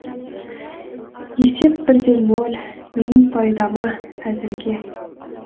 есеп бір де ноль менің пайдама әзірге